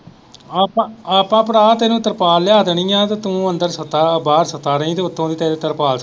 ਆਪਾਂ ਆਪਾਂ ਭਰਾ ਤੈਨੂੰ ਤਰਪਾਲ ਲਿਆ ਦੇਣੀ ਹੈ ਤੇ ਤੂੰ ਅੰਦਰ ਸੁੱਤਾ ਬਾਹਰ ਸੁੱਤਾ ਰਹੀ ਤੇ ਉੱਤੋਂ ਦੀ ਤੇਰੇ ਤਰਪਾਲ .